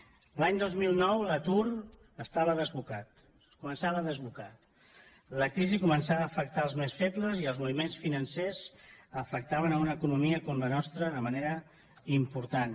l’any dos mil nou l’atur estava desbocat es començava a desbocar la crisi començava a afectar els més febles i els moviments financers afectaven una economia com la nostra de manera important